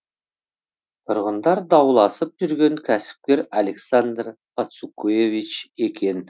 тұрғындар дауласып жүрген кәсіпкер александр пацукевич екен